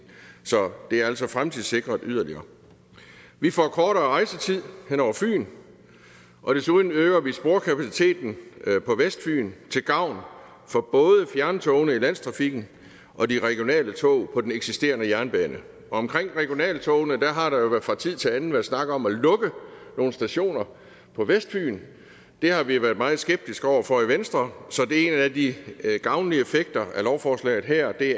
så det er altså fremtidssikret yderligere vi får kortere rejsetid hen over fyn og desuden øger vi sporkapaciteten på vestfyn til gavn for både fjerntogene i landstrafikken og de regionale tog på den eksisterende jernbane omkring regionaltogene har der jo fra tid til anden været snakket om at lukke nogle stationer på vestfyn det har vi været meget skeptiske over for i venstre så det er en af de gavnlige effekter af lovforslaget her at vi